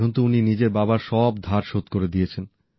এখন তো উনি নিজের বাবার সব ধার শোধ করে দিয়েছেন